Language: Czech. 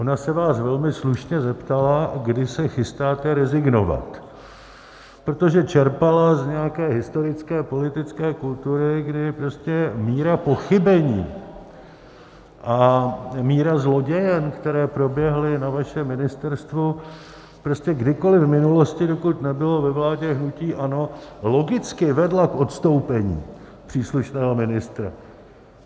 Ona se vás velmi slušně zeptala, kdy se chystáte rezignovat, protože čerpala z nějaké historické politické kultury, kdy prostě míra pochybení a míra zlodějen, které proběhly na vašem ministerstvu prostě kdykoli v minulosti, dokud nebylo ve vládě hnutí ANO, logicky vedla k odstoupení příslušného ministra.